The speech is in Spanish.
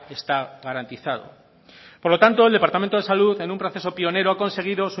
está garantizado por lo tanto el departamento de salud en un proceso pionero ha conseguido